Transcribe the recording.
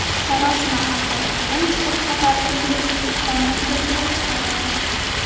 Sarosima hamda tiqilinch bir qator ko‘ngilsizliklarni keltirib chiqargan.